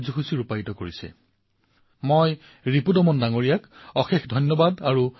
আৰু বন্ধুসকল এইবাৰ পূজ্য বাপুৰ জয়ন্তী উপলক্ষে খেল মন্ত্ৰালয়েও ফিট ইণ্ডিয়া প্লগিন ৰাণৰ আয়োজন কৰিবলৈ ওলাইছে